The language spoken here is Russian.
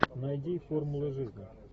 найди формулы жизни